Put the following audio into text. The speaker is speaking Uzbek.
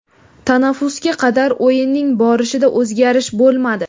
Tanaffusga qadar o‘yinning borishida o‘zgarish bo‘lmadi.